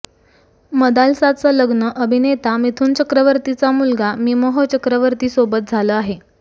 मदालसाचं लग्न अभिनेता मिथुन चक्रवर्तीचा मुलगा मिमोह चक्रवर्ती सोबत झालं आहे